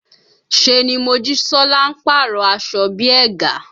Ṣé ni Mojisola ń pàrọ̀ aṣọ bí i ẹ̀gà